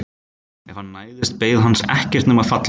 Ef hann næðist beið hans ekkert nema fallöxin.